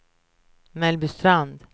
Mellbystrand